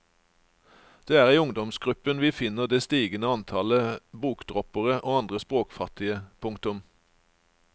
Det er i ungdomsgruppen vi finner det stigende antallet bokdroppere og andre språkfattige. punktum